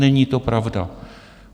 Není to pravda.